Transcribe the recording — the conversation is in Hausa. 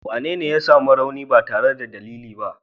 Wanene ya sami rauni ba tare da dalili ba?